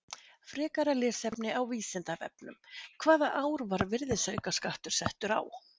Frekara lesefni á Vísindavefnum: Hvaða ár var virðisaukaskattur settur á?